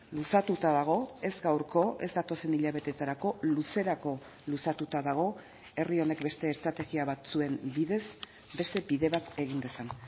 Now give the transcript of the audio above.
luzatuta dago ez gaurko ez datozen hilabetetarako luzerako luzatuta dago herri honek beste estrategia batzuen bidez beste bide bat egin dezan